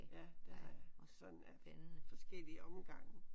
Ja det har jeg sådan af forskellige omgange